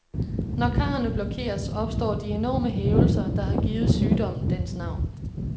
Når karrene blokeres, opstår de enorme hævelser, der har givet sygdommen dens navn.